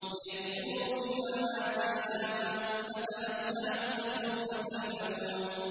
لِيَكْفُرُوا بِمَا آتَيْنَاهُمْ ۚ فَتَمَتَّعُوا ۖ فَسَوْفَ تَعْلَمُونَ